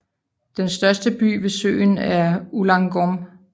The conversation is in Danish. Den største by ved søen er Ulaangom